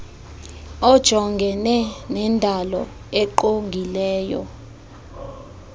ojongene nendalo engqongileyo